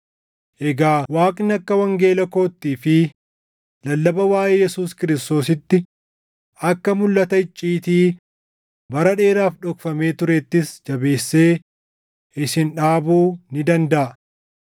Egaa Waaqni akka wangeela koottii fi lallaba waaʼee Yesuus Kiristoositti, akka mulʼata icciitii bara dheeraaf dhokfamee tureettis jabeessee isin dhaabuu ni dandaʼa;